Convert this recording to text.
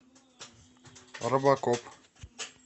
робокоп